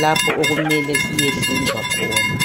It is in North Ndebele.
lapho okumele siyehlinzwa khona.